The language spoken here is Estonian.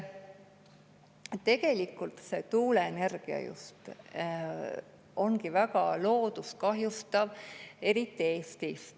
Tegelikult tuuleenergia ongi väga loodust kahjustav, eriti Eestis.